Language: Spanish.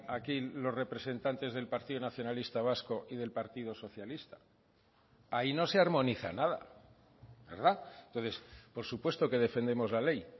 aquí los representantes del partido nacionalista vasco y del partido socialista ahí no se armoniza nada verdad entonces por supuesto que defendemos la ley